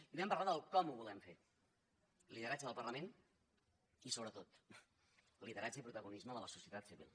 i vam parlar de com ho volem fer lideratge del parlament i sobretot lideratge i protagonisme de la societat civil